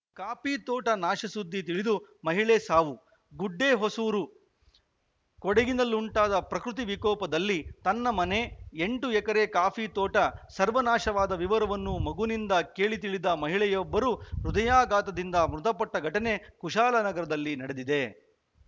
ಕಾಫಿತೋಟ ನಾಶ ಸುದ್ದಿ ತಿಳಿದು ಮಹಿಳೆ ಸಾವು ಗುಡ್ಡೆಹೊಸೂರು ಕೊಡಗಿನಲ್ಲುಂಟಾದ ಪ್ರಕೃತಿ ವಿಕೋಪದಲ್ಲಿ ತನ್ನ ಮನೆ ಎಂಟು ಎಕರೆ ಕಾಫಿ ತೋಟ ಸರ್ವನಾಶವಾದ ವಿವರವನ್ನು ಮಗನಿಂದ ಕೇಳಿ ತಿಳಿದ ಮಹಿಳೆಯೊಬ್ಬರು ಹೃದಯಾಘಾತದಿಂದ ಮೃತಪಟ್ಟಘಟನೆ ಕುಶಾಲನಗರದಲ್ಲಿ ನಡೆದಿದೆ